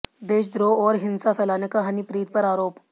देशद्रोह और हिंसा फैलाने का हनीप्रीत पर आरोप